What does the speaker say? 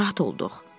Narahat olduq.